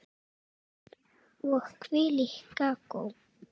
Og hvílíkt kakó.